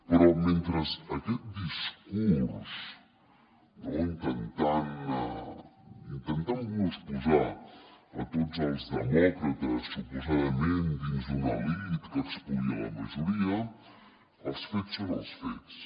però mentre aquest discurs intentant nos posar a tots els demòcrates suposadament dins d’una elit que espolia la majoria els fets són els fets